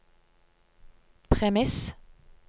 premiss